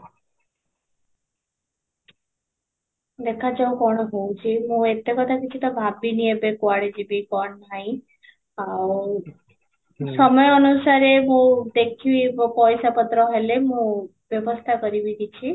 ଦେଖା ଯାଉ କ'ଣ ହଉଛି, ତୋମେ ଏତେ କଥା କିଛି ତ ଭାବିନି ଏବେ କୁଆଡେ ଯିବି କଣ ନାହିଁ ଆଉ ସମୟ ଅନୁସାରେ ମୁଁ ଦେଖିବି ମୁଁ ପଇସା ପତ୍ର ହେଲେ ମୁଁ ବ୍ୟବସ୍ତା କରିବି କିଛି